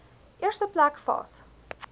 eerste plek vas